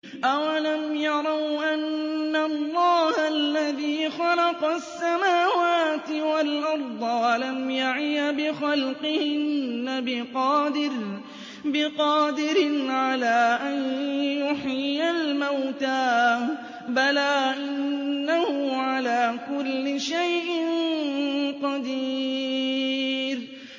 أَوَلَمْ يَرَوْا أَنَّ اللَّهَ الَّذِي خَلَقَ السَّمَاوَاتِ وَالْأَرْضَ وَلَمْ يَعْيَ بِخَلْقِهِنَّ بِقَادِرٍ عَلَىٰ أَن يُحْيِيَ الْمَوْتَىٰ ۚ بَلَىٰ إِنَّهُ عَلَىٰ كُلِّ شَيْءٍ قَدِيرٌ